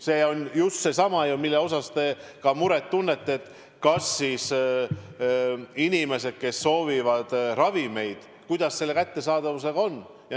See on just seesama ju, mille pärast te ka muret tunnete, inimeste pärast, kes soovivad ravimeid, et kuidas selle kättesaadavusega on.